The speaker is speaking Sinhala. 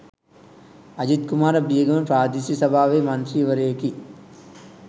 අජිත් කුමාර බියගම ප්‍රාදේශීය සභාවේ මන්ත්‍රීවරයෙකි